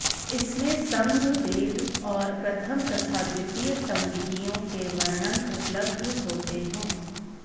इसमें संघ भेद और प्रथम तथा द्वितीय संगीतियों के वर्णन उपलब्ध होते है